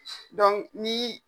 Donku ni